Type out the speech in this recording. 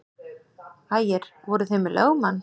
Ægir: Voruð þið með lögmann?